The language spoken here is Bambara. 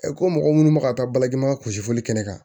ko mɔgɔ minnu bɛ ka taa bajima gosi fɔli kɛ kɛnɛ kan